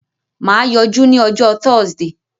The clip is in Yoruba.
Mà á yọjú ní ọjọ́ Thursday.